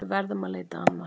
Við verðum að leita annað.